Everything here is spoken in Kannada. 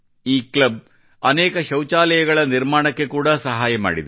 ಈ ಕ್ಲಬ್ ಅನೇಕ ಶೌಚಾಲಯಗಳ ನಿರ್ಮಾಣಕ್ಕೆ ಕೂಡಾ ಸಹಾಯ ಮಾಡಿದೆ